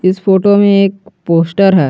इस फोटो में एक पोस्टर है।